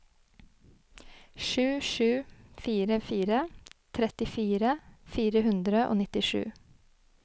sju sju fire fire trettifire fire hundre og nittisju